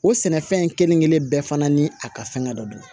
O sɛnɛfɛn in kelen kelen bɛɛ fana ni a ka fɛngɛ dɔ don